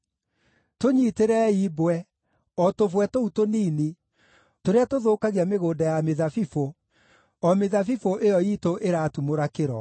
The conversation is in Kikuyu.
Tũnyitĩrei mbwe, o tũbwe tũu tũnini, tũrĩa tũthũkagia mĩgũnda ya mĩthabibũ, o mĩthabibũ ĩyo iitũ ĩratumũra kĩro.